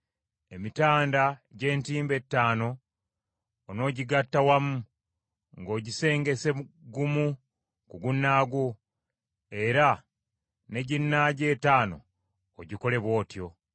Emitanda gy’entimbe etaano onoogigatta wamu, ng’ogisengese gumu ku gunnaagwo, era ne ginnaagyo ettaano ogikole bw’otyo.